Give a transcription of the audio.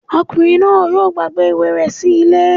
Ọkùnrin náà yóò gbàgbé ìwé rẹ̀ sí ilé